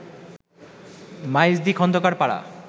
Maijdi Khandakar Para